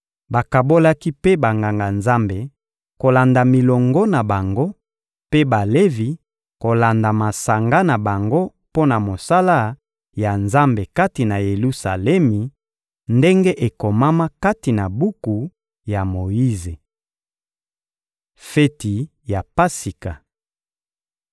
Bakabolaki mpe Banganga-Nzambe kolanda milongo na bango, mpe Balevi kolanda masanga na bango mpo na mosala ya Nzambe kati na Yelusalemi, ndenge ekomama kati na buku ya Moyize. Feti ya Pasika